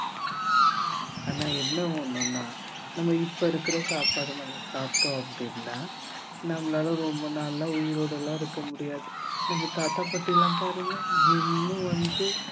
ஆனா என்ன ஒண்ணுன்னா நம்ம இப்ப இருக்கிற சாப்பாட நம்ம சாப்பிட்டோம் அப்படின்னா நம்மளால ரொம்ப நாளா உயிரோடெல்லாம் இருக்க முடியாது நம்ம தாத்தா பாட்டி எல்லாம் பாருங்க இன்னும் வந்து